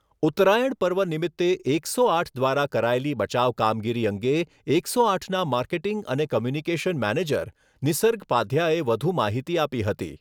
ઉત્તરાયણ પર્વ નિમિત્તે એકસો આઠ દ્વારા કરાયેલી બચાવ કામગીરી અંગે એકસો આઠના માર્કેટીંગ અને કોમ્યુનિકેશન મેનેજર નિસર્ગ પાધ્યાએ વધુ માહિતી આપી.